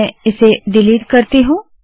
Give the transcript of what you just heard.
मैं इसे डिलीट करती हूँ